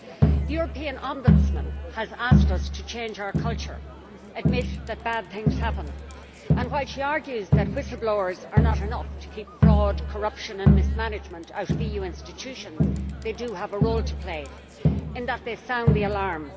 The European Ombudsman has asked us to change our culture, admit that bad things happen, and while she argues that whistle blowers are not enough to keep fraud, corruption and mismanagement out of EU institutions, they do have a role to play, in that they sound the alarm.